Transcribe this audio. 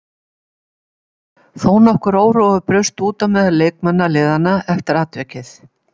Þó nokkur órói braust út á meðal leikmanna liðanna eftir atvikið.